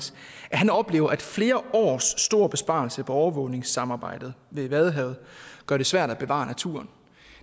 han oplever at flere års store besparelser på overvågningssamarbejdet ved vadehavet gør det svært at bevare naturen